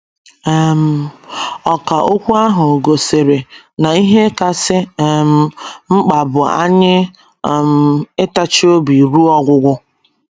um Ọkà okwu ahụ gosiri na ihe kasị um mkpa bụ anyị ‘ um ịtachi obi ruo ọgwụgwụ. ’